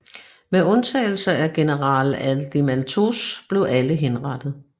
Med undtagelse af general Adeimantos blev alle henrettet